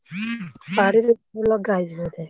ବାଡିରେ ଲଗା ହେଇଛି ବୋଧେ?